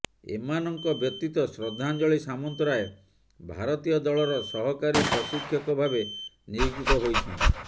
ଏମାନଙ୍କ ବ୍ୟତୀତ ଶ୍ରଦ୍ଧାଞ୍ଜଳି ସାମନ୍ତରାୟ ଭାରତୀୟ ଦଳର ସହକାରୀ ପ୍ରଶିକ୍ଷକ ଭାବେ ନିଯୁକ୍ତ ହୋଇଛନ୍ତି